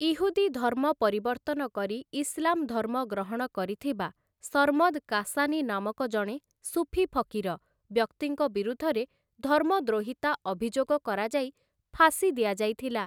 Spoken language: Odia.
ଇହୁଦୀ ଧର୍ମ ପରିବର୍ତ୍ତନ କରି ଇସଲାମ୍‌ ଧର୍ମ ଗ୍ରହଣ କରିଥିବା ସର୍ମଦ୍‌ କାଶାନୀ ନାମକ ଜଣେ ସୁଫି ଫକୀର ବ୍ୟକ୍ତିଙ୍କ ବିରୁଦ୍ଧରେ ଧର୍ମଦ୍ରୋହିତା ଅଭିଯୋଗ କରାଯାଇ ଫାଶୀ ଦିଆଯାଇଥିଲା ।